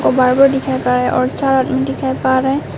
barber दिखाई पर रा और चार आदमी दिखाई पर रे--